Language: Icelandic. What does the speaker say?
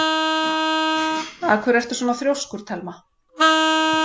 Af hverju ertu svona þrjóskur, Thelma?